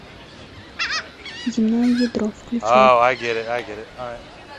земное ядро включай